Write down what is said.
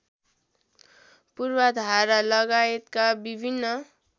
पूर्वाधार लगायतका विभिन्न